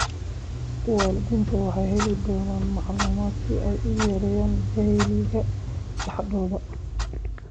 Waalidiintu waxay heli doonaan macluumaadka si ay u yareeyaan jahliga dhexdooda.